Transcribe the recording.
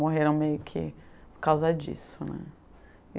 Morreram meio que por causa disso, né.